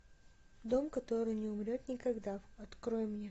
дом который не умрет никогда открой мне